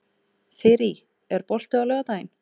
Þyrí, er bolti á laugardaginn?